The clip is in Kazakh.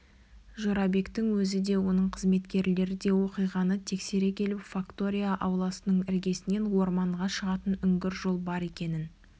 жорабектің өзі де оның қызметкерлері де оқиғаны тексере келіп фактория ауласының іргесінен орманға шығатын үңгір жол бар екенін